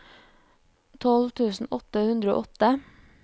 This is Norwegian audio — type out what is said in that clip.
tolv tusen åtte hundre og åtte